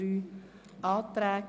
Wir haben drei Anträge.